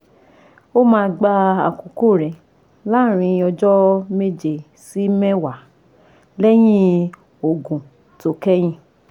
Ó máa gba àkókò rẹ̀ láàárín ọjọ́ méje sí mẹ́wàá lẹ́yìn òògùn tó kẹ́yìn